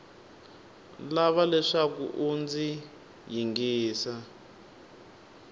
lava leswaku u ndzi yingisa